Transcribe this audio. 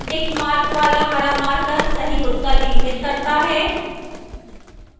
tickmark वाला हरा marker सही उत्तर इंगित करता है